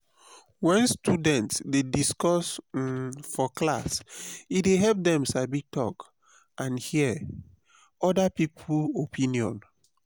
when students dey discuss um for class e dey help dem sabi talk and hear other people opinion.